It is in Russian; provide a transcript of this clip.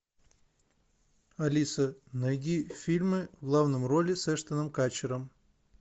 алиса найди фильмы в главной роли с эштоном катчером